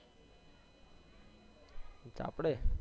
આપડે